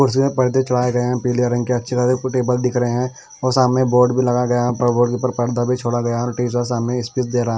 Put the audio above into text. कुर्सी में पर्दे चढ़ाए गए हैं पीले रंग के अच्छे खासे कोई टेबल दिख रहे हैं और सामने बोर्ड भी लगाया गया है ऊपर बोर्ड के ऊपर पर्दा भी छोड़ा गया है और टीचर सामने स्पीच दे रहा--